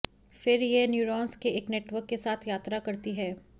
फिर यह न्यूरॉन्स के एक नेटवर्क के साथ यात्रा करती है